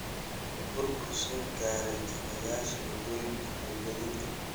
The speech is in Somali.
Burbur soo gaaray kaabayaasha waddooyinka iyo gaadiidka.